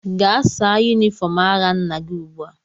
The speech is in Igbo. Gaa saa yunifọm agha nna gị ugbua!